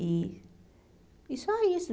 E e só isso.